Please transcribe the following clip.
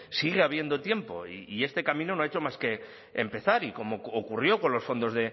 sigue habiendo tiempo y este camino no ha hecho más que empezar y como ocurrió con los fondos